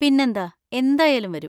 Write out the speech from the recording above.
പിന്നെന്താ! എന്തായാലും വരും.